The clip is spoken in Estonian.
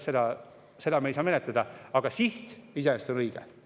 Seda me ei saa menetleda, aga siht iseenesest on õige.